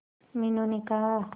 मीनू ने कहा